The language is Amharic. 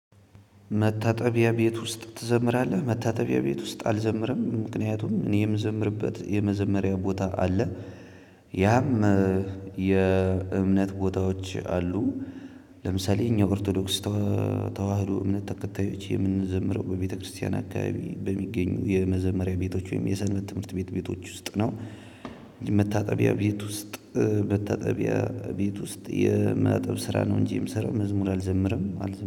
መታጠቢያ ቤት ውስጥ ትዘምራለህ? መታጠቢያ ቤት ውስጥ አልዘምርም ምክንያቱም እኔ የምዘምርበት የመዘመሪያ ቦታ አለ። ያም የእምነት ቦታዎች አሉ። ለምሳሌ እኛ ኦርቶዶክስ ተዋህዶ እምነት ተከታዮች የምንዘምረው በቤተክርስቲያን አካባቢ በሚገኙ የመዘመሪያ ቤቶች ወይም የሰንበት ትምህርት ቤት ቤቶች ውስጥ ነው። መታጠቢያ ቤት ውስጥ መታጠቢያ ቤት ውስጥ የማጠብ ስራ ነው እንጂ የምሰራው መዝሙር አልዘምርም አልዘምርም